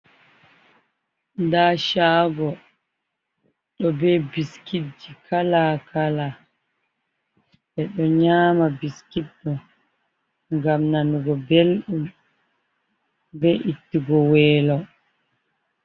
Nda shago, ɗobe biskit ji kala-kala, ɓeɗo nyama biskit ɗo ngam nanugo belɗum be ittuki welo.